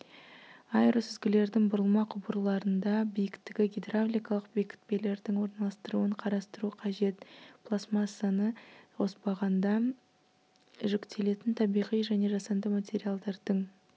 аэросүзгілердің бұрылма құбырларында биіктігі гидравликалық бекітпелердің орналастырылуын қарастыру қажет пластмассаманы қоспағанда жүктелетін табиғи және жасанды материалдардың